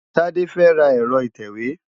Tade fẹ́ ra ẹ̀rọ ìtẹ̀wé.